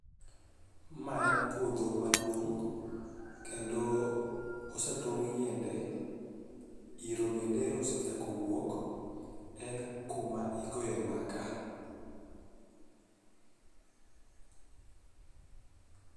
Ma en puodho maduong' kendo osatong' yiende, yiro bende ero osechako wuok. En kuma igoye makaa